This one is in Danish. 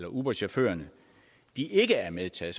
uberchaufførerne ikke er medtaget